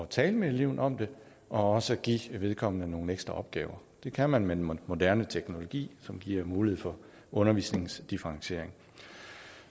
tale med eleven om det og også give vedkommende nogle ekstra opgaver det kan man med den moderne teknologi som giver mulighed for undervisningsdifferentiering